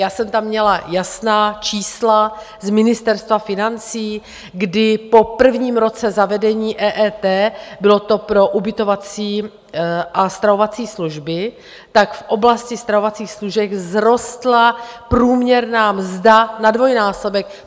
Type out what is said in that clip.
Já jsem tam měla jasná čísla z Ministerstva financí, kdy po prvním roce zavedení EET, bylo to pro ubytovací a stravovací služby, tak v oblasti stravovacích služeb vzrostla průměrná mzda na dvojnásobek.